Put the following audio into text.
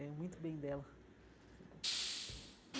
É muito bem dela. E